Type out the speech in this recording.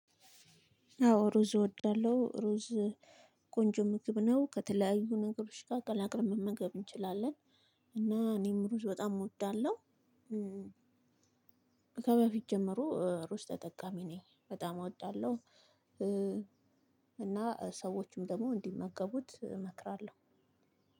አዎ ሩዝ እወዳለሁ ሩዝ ቆንጆ ምግብ ነው ከተለያዩ ነገሮች ጋ አቀላቅለን መመገብ እንችላለን። እና እኔም ሩዝ በጣም እወዳለሁ። ከበፊት ጀመሮ እሩዝ ተጠቃሚ ነኝ በጣም አወጣለሁ። እና ሰዎችም ደሞ እንዲመገቡት እመክራለሁ።